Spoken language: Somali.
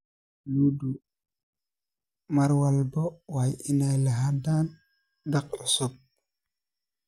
Lo'du mar walba waa inay lahaadaan daaq cusub.